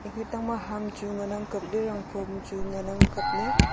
aketang ma ham chu ngan ang kapley tai ley rangphom chu ngan ang kap ley.